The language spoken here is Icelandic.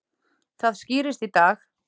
Það skýrist í dag.